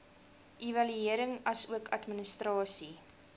evaluering asook administrasie